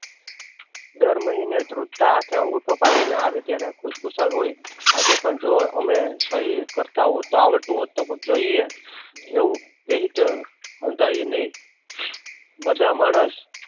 દર મહિને ઘ્રુજતા હાથે અંગુઠો પાડી ને આવે ત્યારે ખુશખુશાલ હોય. આજે પણ જો અમે સહી કરતા હોત આવડતું હોત તો જોઈએ એવું કહી બધા માણસ